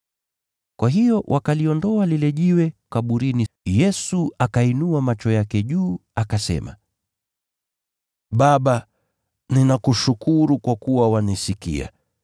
Kwa hiyo wakaliondoa lile jiwe kutoka kaburini. Yesu akainua macho yake juu akasema, “Baba, ninakushukuru kwa kuwa wanisikia.